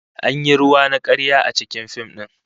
An yi ruwa na karya a cikin fim din